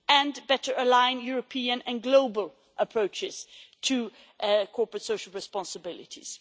and better align European and global approaches to corporate social responsibilities.